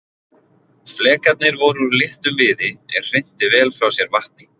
Flekarnir voru úr léttum viði er hrinti vel frá sér vatni.